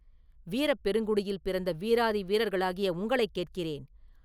வீரப் பெருங்குடியில் பிறந்த வீராதி வீரர்களாகிய உங்களைக் கேட்கிறேன்.